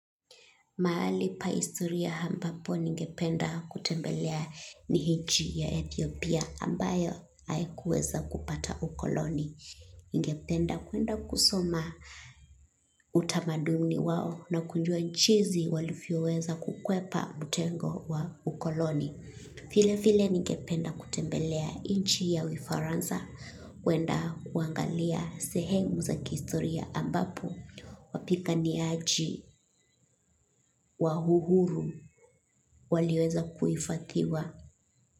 Mahali pa historia ambapo ningependa kutembelea ni nchi ya Ethiopia ambayo haikuweza kupata ukoloni. Ningependa kuenda kusoma utamaduni wao na kujua jinsi walivyoweza kukwepa mtego wa ukoloni. Vile vile ningependa kutembelea nchi ya ufaransa. Kuenda kuangalia sehemu za kihistoria ambapo wapiganiaji wa uhuru waliweza kuhifadhiwa.